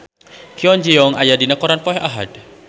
Kwon Ji Yong aya dina koran poe Ahad